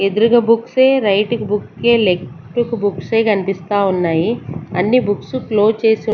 ఎదురుగా బుక్సే రైట్ కి బుక్కే లెఫ్ట్ కి బుక్సే కనిపిస్తా ఉన్నాయి అన్ని బుక్స్ క్లోజ్ చేసి.